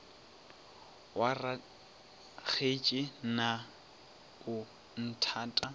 wa rakgetse na o nthata